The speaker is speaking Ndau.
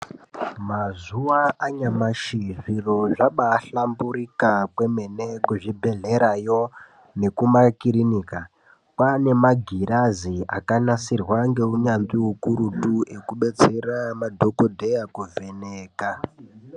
Mazuwa anyamashi ,zviro zvabaahlamburika kwemene kuzvibhedhlerayo, nekumakirinika, kwaane magirazi akanasirwa ngeunyanzvi ukurutu yekubetsera madhokodheya kuvheneka.